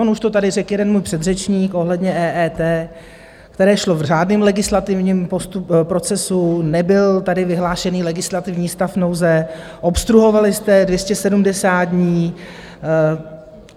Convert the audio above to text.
On už to tady řekl jeden můj předřečník ohledně EET, které šlo v řádném legislativním procesu, nebyl tady vyhlášený legislativní stav nouze, obstruovali jste 270 dní.